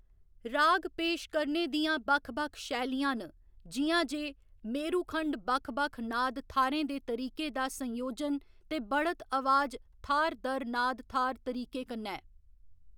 राग पेश करने दियां बक्ख बक्ख शैलियां न, जि'यां जे मेरुखण्ड बक्ख बक्ख नाद थाह्‌रें दे तरीके दा संयोजन ते बढ़त अवाज थाह्‌‌‌र दर नाद थाह्‌‌‌र तरीके कन्नै।